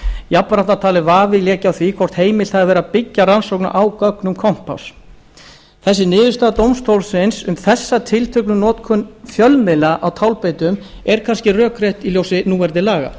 jafnframt var talið að vafi léki á því hvort heimilt hafi verið að byggja rannsóknina á gögnum kompáss þessi niðurstaða dómstólsins um þessa tilteknu notkun fjölmiðla á tálbeitum er kannski rökrétt í ljósi núverandi laga